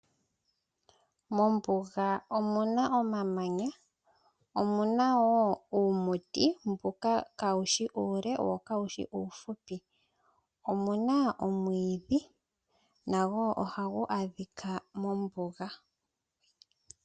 Mombuga omuna omamanya . Omuna woo iimuti mboka kawushi uule wo kawushi uuhupi omuna omwiidhi nago ohagu adhika mombuga